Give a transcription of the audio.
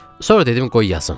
Sonra dedim qoy yazım.